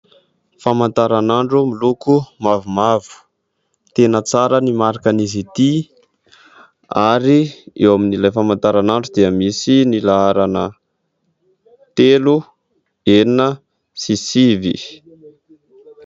Famantaranandro miloko mavomavo, tena tsara ny marikan'izy ity ary eo amin'ilay famantaranandro dia misy ny laharana telo, enina sy sivy.